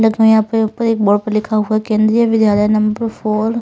यहां पर ऊपर एक बोर्ड पर लिखा हुआ है केंद्रीय विद्यालय नंबर फोर --